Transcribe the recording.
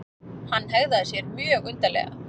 Hann hegðaði sér mjög undarlega.